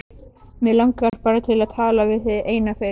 Mig langar bara til að tala við þig eina fyrst.